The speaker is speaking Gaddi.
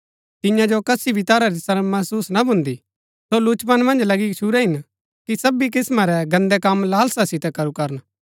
तियां जो कसी भी तरह री शर्म महसुस ना भून्दी सो लुचपन मन्ज लगी गच्छुरै हिन कि सबी किस्‍मां रै गन्दै कम लालसा सितै करू करन